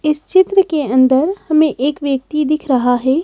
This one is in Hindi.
इस चित्र के अंदर हमें एक व्यक्ति दिख रहा है।